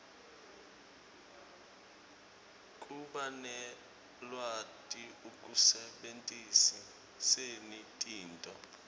kubanelwati ekusebentiseni tinto